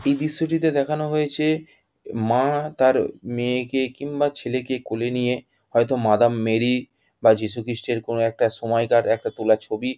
এই দৃশ্যটিতে দেখানো হয়েছে। মা তার মেয়েকে কিংবা ছেলেকে কোলে নিয়ে হয়তো মাদাম মেরী বা যীশু খৃষ্ট -এর কোনো সময়কার একটা তুলা ছবি।